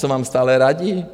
Co vám stále radí?